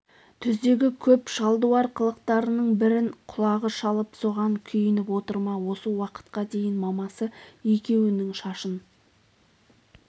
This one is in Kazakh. түздегі көп шалдуар қылықтарының бірін құлағы шалып соған күйініп отыр ма осы уақытқа дейін мамасы екеуінің шашын